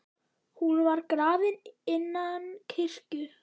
Hún var grafin innan kirkju.